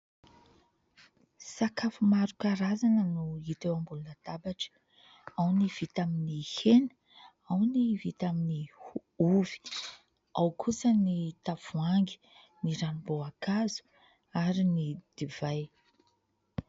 Sakafo maro karazana no hita eo ambonina labatra. Ao ny vita amin'ny hena, ao ny vita amin'ny ovy, ao kosa ny tavoahangy ny ranom-boankazo ary ny divay.